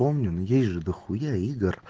помню но есть же дохуя игр